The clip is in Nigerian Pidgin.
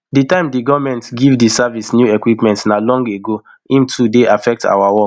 di time di goment give di service new equipment na long ago im too dey affect our work